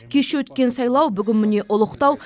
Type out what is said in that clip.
кеше өткен сайлау бүгін міне ұлықтау